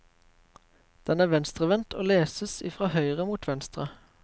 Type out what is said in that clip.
Den er venstrevendt og leses i fra høyre mot venstre.